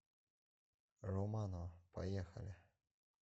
романо поехали